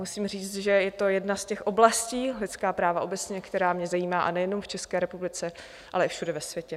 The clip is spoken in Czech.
Musím říct, že je to jedna z těch oblastí - lidská práva obecně - která mě zajímá, a nejenom v České republice, ale i všude ve světě.